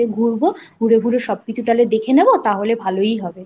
ঘুরবো ঘুরে ঘুরে সবকিছু তাহলে দেখে নেবো তাহলে ভালোই হবে